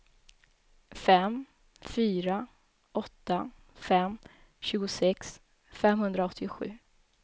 fem fyra åtta fem tjugosex femhundraåttiosju